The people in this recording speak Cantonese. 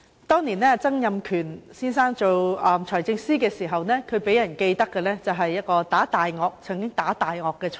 當年，曾蔭權先生擔任財政司司長時，他予人的最深刻印象是"打大鱷"，是一位"打大鱷財爺"。